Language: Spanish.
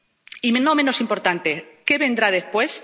Y, no menos importante, ¿qué vendrá después?